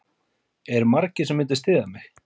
Eru margir sem myndu styðja mig?